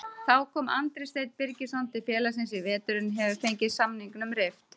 Þá kom Andri Steinn Birgisson til félagsins í vetur en hefur fengið samningnum rift.